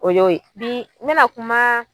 O y'o ye. Bi n bɛna kumaa